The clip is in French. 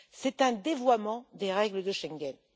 C'est un dévoiement des règles de Schengen.